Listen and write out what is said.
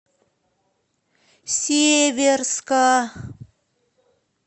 северска